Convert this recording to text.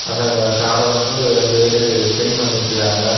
அந்த கார வந்து ரெண்டு வேறு க்ளீன் பன்னிட்ருக்காங்க .]